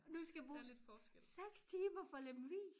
Nu skal jeg bruge 6 timer fra Lemvig